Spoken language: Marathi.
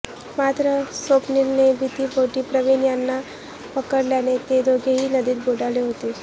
मात्र स्वप्नीलने भितीपोटी प्रवीण यांना पकडल्याने ते दोघेही नदीत बुडाले होते